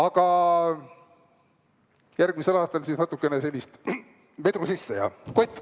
Aga järgmisel aastal natukene sellist, vedru sisse ja hopp!